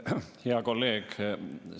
Hea kolleeg!